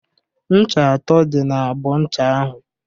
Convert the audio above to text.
Ncha atọ dị n'abọ ncha ahụ.